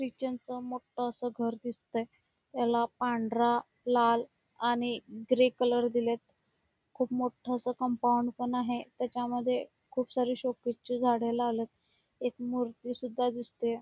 Christian च मोठ अस घर दिसतय त्याला पांढरा लाल आणि ग्रे कलर दिलेत खुप मोठ अस कंपाऊंड पण आहे त्याच्या खूप सारी शोकेस ची झाड लावलेत एक मूर्ती सुद्धा दिसते.